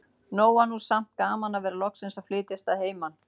Nóg var nú samt gaman að vera loksins að flytjast að heiman.